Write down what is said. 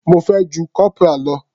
Mo fẹ́ ju corporal lọ.